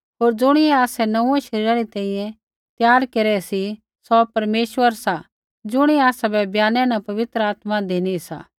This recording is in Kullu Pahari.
होर ज़ुणियै आसै नोंऊँऐं शरीरा री तैंईंयैं त्यार केरै सी सौ परमेश्वर सा ज़ुणियै आसाबै बयानै न पवित्र आत्मा धिनी सा